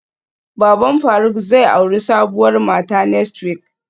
Baban faruk zai auri sabuwar mata next week